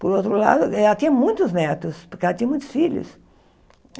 Por outro lado, ela tinha muitos netos, porque ela tinha muitos filhos.